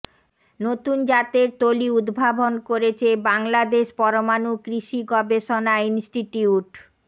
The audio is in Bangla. নতুন জাতরে তলি উদ্ভাবন করছেে বাংলাদশে পরমাণু কৃষি গবষেণা ইনস্টটিউিট